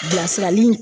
Bilasirali